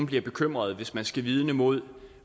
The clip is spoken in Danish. bliver bekymret hvis man skal vidne imod